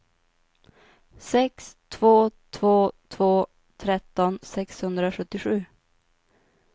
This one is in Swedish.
sex två två två tretton sexhundrasjuttiosju